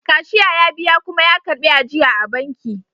Cashier ya biya kuma ya karbi ajiya a banki